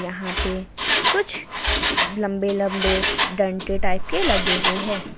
यहां पे कुछ लंबे लंबे डंडे टाइप के लगे हुए हैं ।